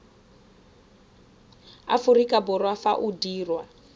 aforika borwa fa o dirwa